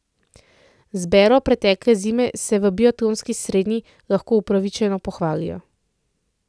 Z bero pretekle zime se v biatlonski srenji lahko upravičeno pohvalijo.